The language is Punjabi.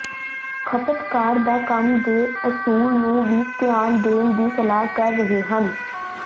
ਖਪਤਕਾਰ ਦਾ ਕੰਮ ਦੇ ਅਸੂਲ ਨੂੰ ਵੀ ਧਿਆਨ ਦੇਣ ਦੀ ਸਲਾਹ ਕਰ ਰਹੇ ਹਨ